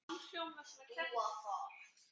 Dúa þar.